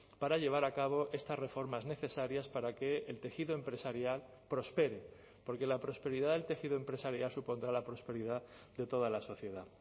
para llevar a cabo estas reformas necesarias para que el tejido empresarial prospere porque la prosperidad del tejido empresarial supondrá la prosperidad de toda la sociedad